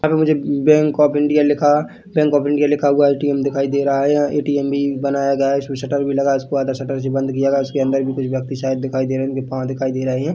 पर मुझे bank of India लिखा बैंक ऑफ़ इंडिया लिखा हुआ ए_टी_एम दिखाई दे रहा है। ए_टी_एम भी बनाया गया हैउसपे शटर लगा इसमें शटर से बंद किया। इसके अंदर भी कुछ व्यक्ति शायद दिखाई दे रहे हैजिनके पाँव दिखाई दे रहे है।